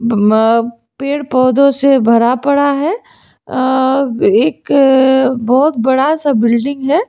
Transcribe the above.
पेड़ पौधों से भरा पड़ा है अह एक बहुत बड़ा सा बिल्डिंग है।